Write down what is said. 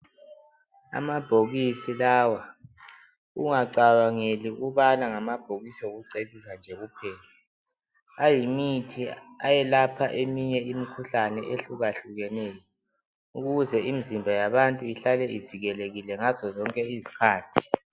Amabhokisi lawa ungacabangeli ukubana ngamabhokisi okucecisa nje kuphela. Ayimithi ayelapha imikhuhlane ehlukahlukeneyo ukuze imizimba ihlale ivikelekile ngazo zonke izikhathi.